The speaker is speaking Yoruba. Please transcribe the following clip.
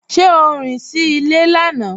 Ṣe o rín sí ilẹ̀ lánà?